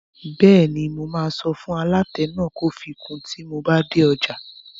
Bẹ́ẹ̀ni, mo máa sọ fún aláta náà pé kó fi kun tíi n bá dé ọjà